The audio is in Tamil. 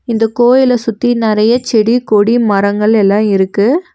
இந்த கோயில சுத்தி நறையா செடி கொடி மரங்கள் எல்லா இருக்கு.